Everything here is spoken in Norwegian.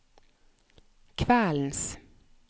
kveldens